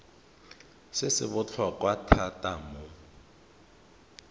se se botlhokwa thata mo